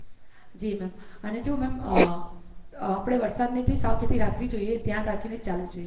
જી ma'am અને જો ma'am આપણે વરસાદથી સાવચેતી રાખવી જોયએ ધ્યાન રાખી ને જ ચાલવું જોઈએ